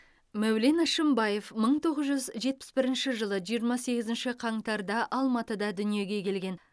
мәулен әшімбаев мың тоғыз жүз жетпіс бірінші жылы жиырма сегізінші қаңтарда алматыда дүниеге келген